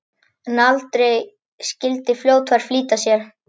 En aldrei skyldi fljótfær flýta sér!